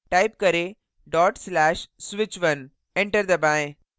type करें/switch1 enter दबाएँ